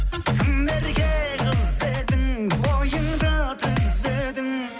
тым ерке қыз едің бойыңды түзедің